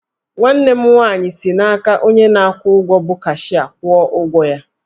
Nwanne m nwaanyị si n'aka onye na-akwụ ụgwọ bụ cashịa kwụọ ụgwọ ya